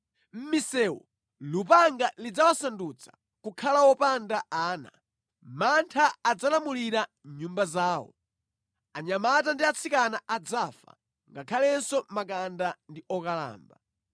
Mʼmisewu lupanga lidzawasandutsa kukhala wopanda ana; mantha adzalamulira nyumba zawo. Anyamata ndi atsikana adzafa, ngakhalenso makanda ndi okalamba.